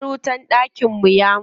Ƙwan wutar dakin mu ya mutu.